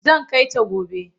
Zan kai ta gobe.